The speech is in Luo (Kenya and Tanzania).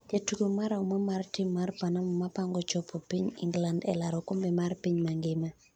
jatugo marahuma mar rim mar Panama mapango chapo piny Ingland elaro okombe mar piny mangima